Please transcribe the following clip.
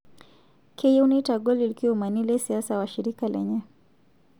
Keyieu neitagol lkiomani le siasa washirika lenye